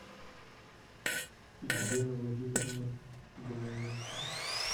елена владимировна дунаевская